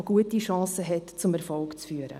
dieses hat gute Chancen, zum Erfolg zu führen.